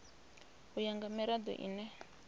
u ya nga mirado ine